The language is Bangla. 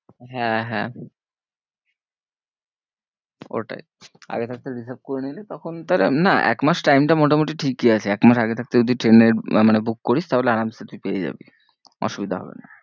হ্যাঁ হ্যাঁ হ্যাঁ ওটাই আগে থাকতে হিসেবে করে নিলে তখন না এক মাস time টা মোটামুটি ঠিকই আছে একমাস আগে থাকতে যদি ট্রেনের মানে book করিস তাহলে তুই পেয়ে যাবি। অসুবিধা হবে না।